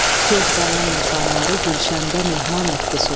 Söz qanan insanları gülşəndə mehman etdi söz.